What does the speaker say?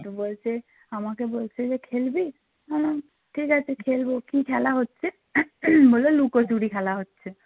তো বলছে আমাকে বলছে যে খেলবি? আমি বললাম ঠিক আছে খেলবো কী খেলা হচ্ছে বলল লুকোচুরি খেলা হচ্ছে